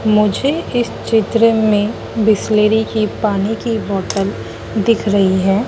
मुझे इस चित्र में बिसलेरी की पानी की बॉटल दिख रही है।